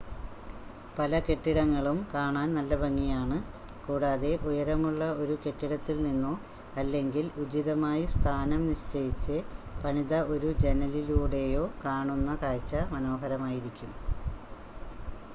പല കെട്ടിടങ്ങളും കാണാൻ നല്ല ഭംഗിയാണ് കൂടാതെ ഉയരമുള്ള ഒരു കെട്ടിടത്തിൽ നിന്നോ അല്ലെങ്കിൽ ഉചിതമായി സ്ഥാനം നിശ്ചയിച്ച് പണിത ഒരു ജനലിലൂടെയോ കാണുന്ന കാഴ്ച്ച മനോഹരമായിരിക്കും